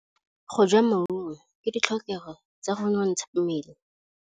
Go ja maungo ke ditlhokegô tsa go nontsha mmele.